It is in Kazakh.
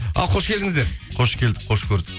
ал қош келдіңіздер қош келдік қош көрдік